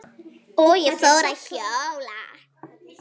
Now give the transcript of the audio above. Og ég fór að hjóla.